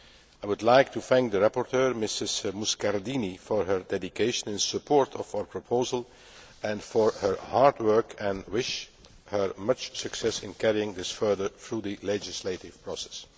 I would like to thank the rapporteur, Mrs Muscardini, for her dedication in support of our proposal and for her hard work. I wish her much success in carrying it further through the legislative process.